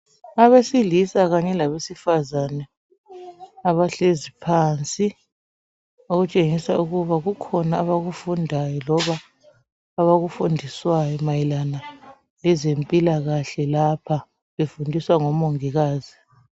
Abesilisa kanye labesifazane abahlezi phansi okutshengisa ukuba kukhona abakufundayo loba abakufundiswayo mayelana ngezempilakahle lapha befundiswa ngomongikazi.